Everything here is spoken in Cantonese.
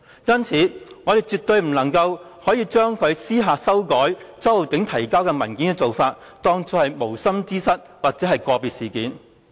因此，我們絕對不能將他私下修改周浩鼎議員提交的文件，當作是無心之失或個別事件。